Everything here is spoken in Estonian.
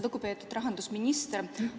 Lugupeetud rahandusminister!